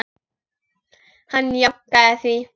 Hann jánkaði því.